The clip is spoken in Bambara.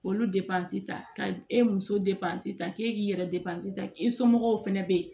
K'olu depansi ta ka e muso de ta k'e k'i yɛrɛ depansi ta i somɔgɔw fana bɛ yen